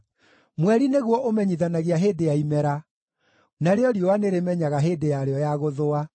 Mweri nĩguo ũmenyithanagia hĩndĩ ya imera, narĩo riũa nĩrĩmenyaga hĩndĩ yarĩo ya gũthũa.